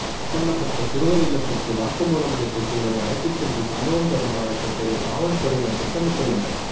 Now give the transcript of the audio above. சம்பந்தப்பட்ட சிறுவர் இல்லத்துக்கு வாக்குமூலம் அளித்த சிறுவனை அழைத்துச்சென்று சம்பவம் தொடர்பாக கேட்டறிய காவல்துறையினர் திட்டமிட்டுள்ளனர்